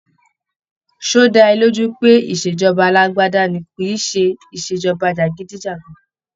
Ṣé ọ́ dá ẹ lójú pé ìṣèjọba alágbádá ni kìíse ìṣèjọba jàgídíjàgan?